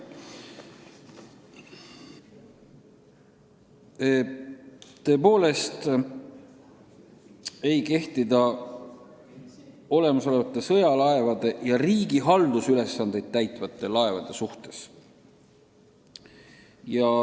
Tõepoolest, see ei kehti olemasolevate sõjalaevade ja riigi haldusülesandeid täitvate laevade suhtes.